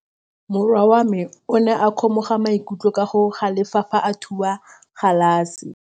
Morwa wa me o ne a kgomoga maikutlo ka go galefa fa a thuba galase.